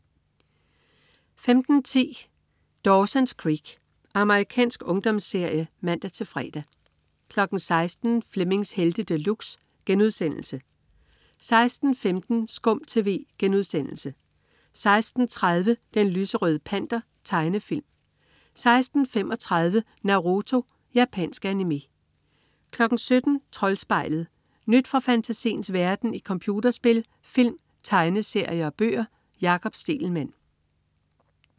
15.10 Dawson's Creek. Amerikansk ungdomsserie (man-fre) 16.00 Flemmings Helte De Luxe* 16.15 SKUM TV* 16.30 Den lyserøde Panter. Tegnefilm 16.35 Naruto. Japansk animé 17.00 Troldspejlet. Nyt fra fantasiens verden i computerspil, film, tegneserier og bøger. Jakob Stegelmann